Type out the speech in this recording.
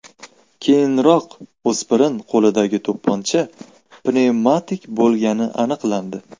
Keyinroq o‘spirin qo‘lidagi to‘pponcha pnevmatik bo‘lgani aniqlandi.